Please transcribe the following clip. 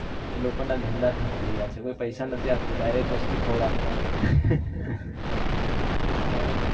એ લોકો ના ધંધા ઠપ થઇ ગયા છે કોઈ પૈસા નથી આપતું direct વસ્તુ ખવડાવે હાં